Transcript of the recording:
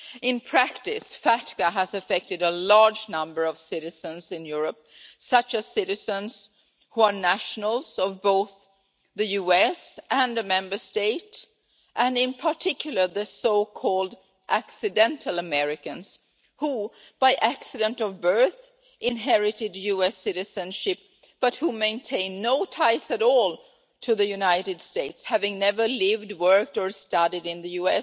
In practice, FATCA has affected a large number of citizens in Europe, such as citizens who are nationals of both the USA and an EU Member State and, in particular, the so-called accidental Americans' who, by accident of birth, inherited US citizenship but who maintain no ties at all to the USA, never having lived, worked or studied there,